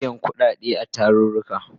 Ana biyan kudade a tarurruka